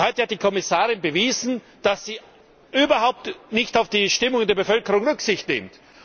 Heute hat die Kommissarin bewiesen, dass sie überhaupt nicht auf die Stimmung in der Bevölkerung Rücksicht nimmt.